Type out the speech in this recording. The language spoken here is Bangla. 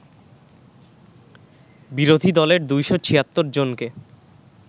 বিরোধী দলের ২৭৬ জনকে